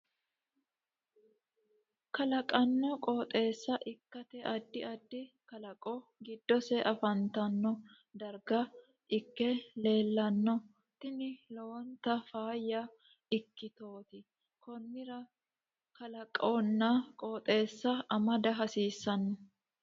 kalaqanno qooxeessa ikkite adddi addi kalaqo gidose afantanno darga ikke leellanno tini lowonta faayya ikkitooti konnira kalqonna qooxeessa amada hasiisanno